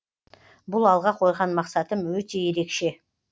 бұл алға қойған мақсатым өте ерекше